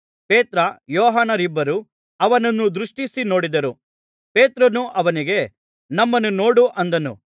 ಪೇತ್ರ ಯೋಹಾನರಿಬ್ಬರೂ ಅವನನ್ನು ದೃಷ್ಟಿಸಿ ನೋಡಿದರು ಪೇತ್ರನು ಅವನಿಗೆ ನಮ್ಮನ್ನು ನೋಡು ಅಂದನು